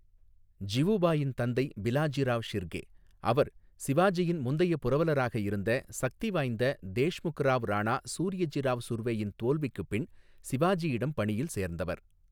ஜிவுபாயின் தந்தை பிலாஜிராவ் ஷிர்கே, அவர் சிவாஜியின் முந்தைய புரவலராக இருந்த சக்திவாய்ந்த தேஷ்முக் ராவ் ராணா சூர்யஜிராவ் சுர்வேயின் தோல்விக்குப் பின் சிவாஜியிடம் பணியில் சேர்ந்தவர்.